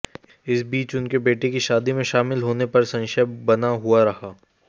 इस बीच उनके बेटे की शादी में शामिल होने पर संशय बना हुआ रहा